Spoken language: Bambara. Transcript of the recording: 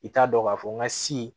I t'a dɔn k'a fɔ n ka si